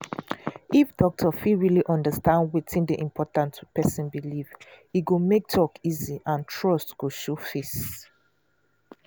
if doctor fit really understand wetin dey important to person belief e go make talk easy and trust go show face.